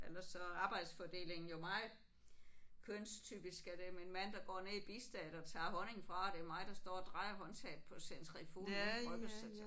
Ellers så er arbejdsfordelingen jo meget kønstypisk er det min mand der går ned i bistedet og tager honningen fra og det er mig der står og drejer håndtaget på centrifugen ude i bryggerset